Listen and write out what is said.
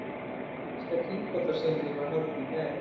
Fyrsta kynbótasýningin var haldin í gær